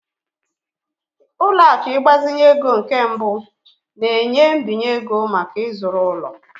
Ụlọ akụ ịgbazinye ego nke mbụ na-enye mbinye ego maka ịzụrụ ụlọ.